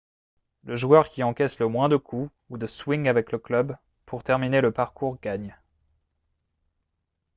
le joueur qui encaisse le moins de coups ou de swings avec le club pour terminer le parcours gagne